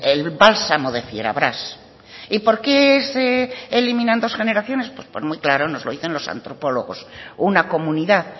el bálsamo de fierabrás y por qué se eliminan dos generaciones pues por muy claro nos lo dicen los antropólogos una comunidad